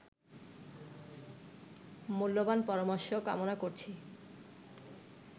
মূল্যবান পরামর্শ কামনা করছি